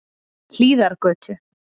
Hlíðargötu